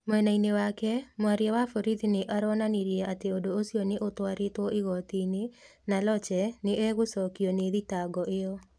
Mwena-inĩ wake, mwaria wa borithi nĩ aronanirie atĩ ũndũ ũcio nĩ utwarĩtwo igoti-inĩ na Lotche nĩ egũcokio nĩ thitango ĩyo.